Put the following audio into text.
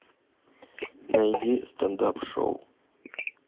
найди стендап шоу